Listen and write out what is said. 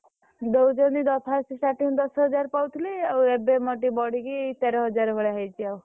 ଦଉଛନ୍ତି first starting ଦଶ ହଜାର ଭଳିଆ ଦେଉଥିଲେ ଆଉ ଏବେ ମୋର ଟିକେ ବଢି କି ତେର ହଜାର ଭଳିଆ ହେଇଛି ଆଉ।